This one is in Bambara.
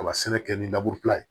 A ka sɛnɛ kɛ ni ye